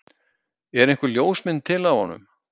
Er einhver ljósmynd til af honum?